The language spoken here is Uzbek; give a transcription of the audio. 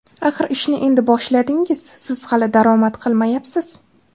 Axir ishni endi boshladingiz, siz hali daromad qilmayapsiz.